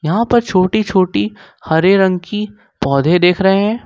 यहां पर छोटी छोटी हरे रंग की पौधे देख रहे हैं।